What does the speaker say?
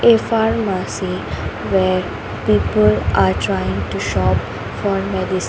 a pharmacy where people are trying to shop for medici .